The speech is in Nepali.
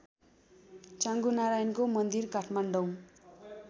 चाँगुनारायणको मन्दिर काठमाडौँ